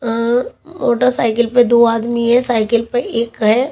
अ motorcycle पे दो आदमी है साइकिल पे एक है।